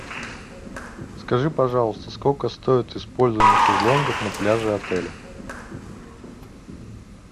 скажи пожалуйста сколько стоит использование шезлонгов на пляже отеля